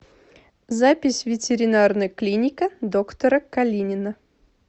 запись ветеринарная клиника доктора калинина